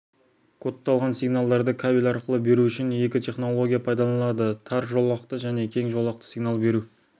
кодталған сигналдарды кабель арқылы беру үшін екі технология пайдаланылады тар жолақты және кең жолақты сигнал беру